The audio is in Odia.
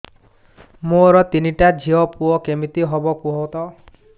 ମୋର ତିନିଟା ଝିଅ ପୁଅ କେମିତି ହବ କୁହତ